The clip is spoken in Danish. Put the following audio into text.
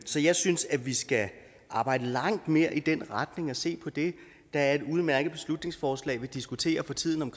så jeg synes at vi skal arbejde langt mere i den retning og se på det der er et udmærket beslutningsforslag som vi diskuterer for tiden om